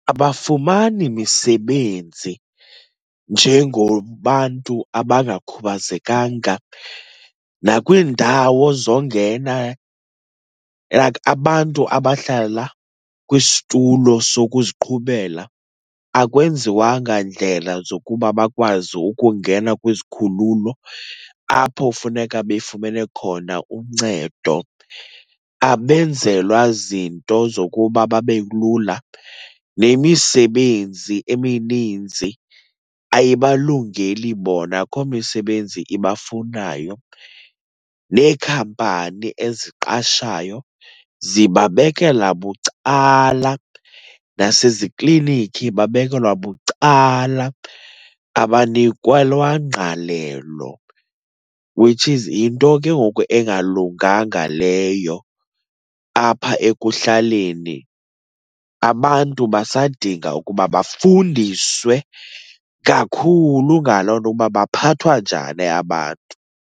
Abafumani misebenzi njengobantu abangakhubazekanga, nakwiindawo zongena like abantu abahlala kwisitulo sokuziqhubela akwenziwanga ndlela zokuba bakwazi ukungena kwizikhululo apho funeka befumene khona uncedo, abenzelwa zinto zokuba babe lula. Nemisebenzi emininzi ayibalungeli bona, akho misebenzi ibafunayo. Neekhampani eziqashayo zibabekela bucala. Nasezikliniki babekelwa bucala, abanikwelwa ngqalelo, which is yinto ke ngoku engalunganga leyo apha ekuhlaleni. Abantu basadinga ukuba bafundiswe kakhulu ngaloo nto, uba baphathwa njani abantu.